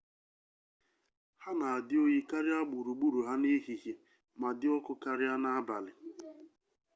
ha na-adị oyi karịa gburugburu ha n'ehihie ma dị ọkụ karịa n'abalị